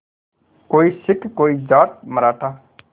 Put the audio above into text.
कोई सिख कोई जाट मराठा